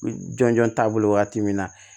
Jɔn jɔn taabolo wagati min na